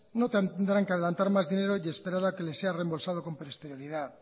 no tendrán que adelantar más dinero y esperar a que les sea reembolsado con posterioridad